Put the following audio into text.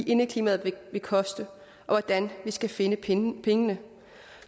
indeklimaet vil koste og hvordan vi skal finde pengene pengene